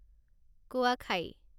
কোৱাখাই